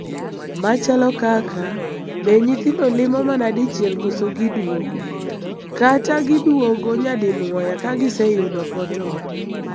Machalo kaka, be nyithindo limo mana dichiel koso giduogo ,kata giduogo nyadinuoya ka giseyudo portal?